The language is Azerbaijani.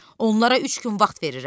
Onlara üç gün vaxt verirəm.